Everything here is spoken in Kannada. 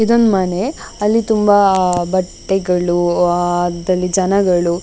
ಇದೊಂದು ಮನೆ ಅಲ್ಲಿ ತುಂಬ ಅಹ್ ಅಹ್ ಬಟ್ಟೆಗಳು ಅಹ್ ದಲ್ಲಿ ಜನಗಳು --